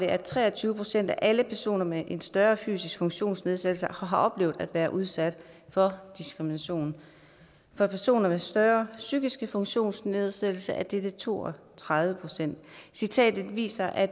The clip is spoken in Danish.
at tre og tyve procent af alle personer med en større fysisk funktionsnedsættelse har oplevet at være udsat for diskrimination for personer med større psykiske funktionsnedsættelser er dette tal to og tredive procent citatet viser at